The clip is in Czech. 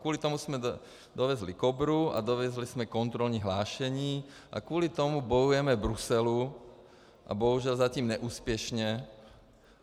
Kvůli tomu jsme dovezli Kobru a dovezli jsme kontrolní hlášení a kvůli tomu bojujeme v Bruselu, bohužel zatím neúspěšně.